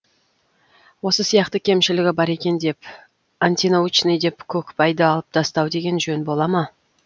осы сияқты кемшілігі бар екен деп антинаучный деп көкпайды алып тастау деген жөн бола ма